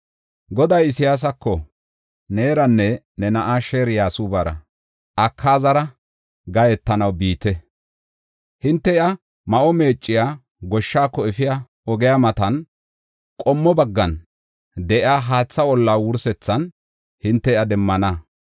Goday Isayaasako, “Neeranne ne na7aa Sheer-Yasuubara Akaazara gahetanaw biite; hinte iya ma7o meecciya goshshaako efiya ogiya matan qommo baggan de7iya haatha olaa wursethan hinte iya demmana.